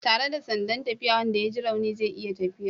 Tare da sandan tafiya wanda ya ji rauni zai iya tafiya